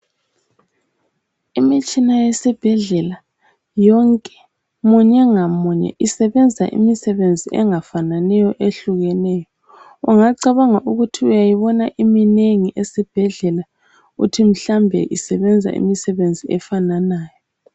Imitshina yesibhedlela yonke ,munye ngamunye isebenza imisebenzi engafananiyo ehlukeneyo. Ungacabanga ukuthi uyayibona iminengi esibhedlela ,uthi mhlawumbe isebenza imisebenzi efananayo.